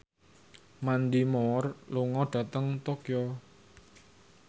Mandy Moore lunga dhateng Tokyo